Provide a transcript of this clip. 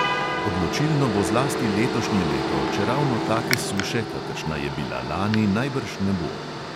Odločilno bo zlasti letošnje leto, čeravno take suše, kakršna je bila lani, najbrž ne bo.